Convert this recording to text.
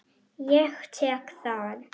Ég tek það!